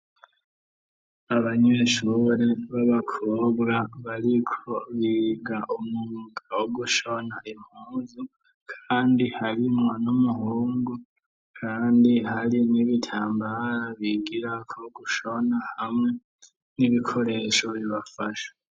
Abanyeshure babakobwa bariko biga umwuga wo gushona impunzu kandi harimwo n'umuhungu kandi hari n'ibitambara bigirako gushona hamwe n'ibikoresho bibafasha.